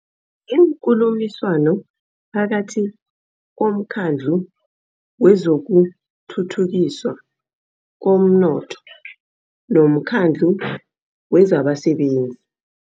Iinkulumiswano phakathi komKhandlu wezokuThuthukiswa komNotho nomKhandlu wezabaSebenzi